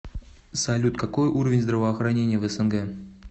салют какой уровень здравоохранения в снг